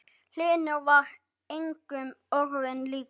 Hlynur var engum öðrum líkur.